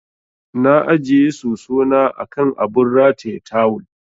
Na ajiye soso na a kan abun rataye tawul.